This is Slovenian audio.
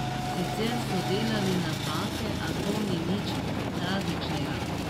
Sicer so delali napake, a to ni nič tragičnega.